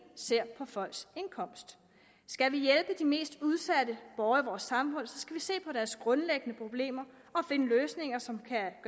ser på folks indkomst skal vi hjælpe de mest udsatte borgere i vores samfund skal vi se på deres grundlæggende problemer og finde løsninger som kan